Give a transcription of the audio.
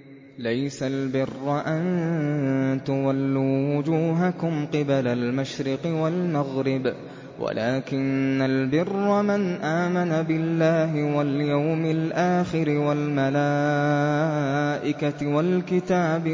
۞ لَّيْسَ الْبِرَّ أَن تُوَلُّوا وُجُوهَكُمْ قِبَلَ الْمَشْرِقِ وَالْمَغْرِبِ وَلَٰكِنَّ الْبِرَّ مَنْ آمَنَ بِاللَّهِ وَالْيَوْمِ الْآخِرِ وَالْمَلَائِكَةِ وَالْكِتَابِ